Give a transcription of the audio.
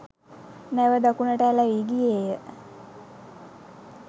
නැව දකුණට ඇලැවී ගියේය.